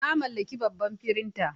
Na mallaki babban firinta.